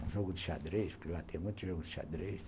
Um jogo de xadrez, porque lá tem muitos jogos de xadrez.